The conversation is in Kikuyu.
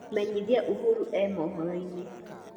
menyĩthĩa uhuru e mohoro ini